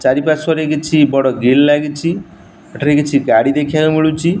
ଚାରିପାଶ୍ଵରେ କିଛି ବଡ଼ ଗ୍ରିଲ୍ ଲାଗିଛି ଏଠାରେ କିଛି ଗାଡି ଦେଖିବାକୁ ମିଳୁଛି।